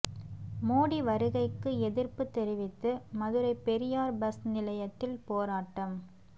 மோடி வருகைக்கு எதிர்ப்பு தெரிவித்து மதுரை பெரியார் பஸ் நிலையத்தில் போராட்டம்